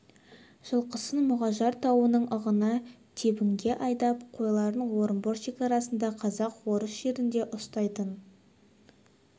жылқысын мұғажар тауының ығына тебінге айдап қойларын орынбор шекарасында казак-орыс жерінде ұстайтын